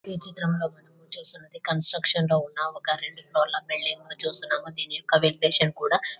ఈ చిత్రం లో మనము చూసినది కన్స్ట్రక్షన్ లో ఉన్న ఒక రెండు ఫ్లోర్ ల బిల్డింగ్ ను చూస్తున్నాము దీని యొక్క వెంటిలేషన్ కూడా--